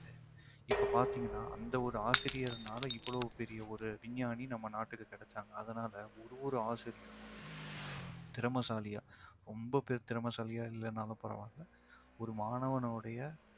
இப்போ பாத்தீங்கன்னா அந்த ஒரு ஆசிரியர்னால இவ்ளோ பெரிய ஒரு விஞ்ஞானி நம்ம நாட்டுக்கு கிடைச்சாங்க அதனால ஒவ்வொரு ஆசிரியரும் திறமைசாலியா ரொம்ப பெரிய திறமைசாலியா இல்லைன்னாலும் பரவாயில்லை ஒரு மாணவனுடைய